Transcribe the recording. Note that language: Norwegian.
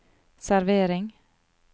servering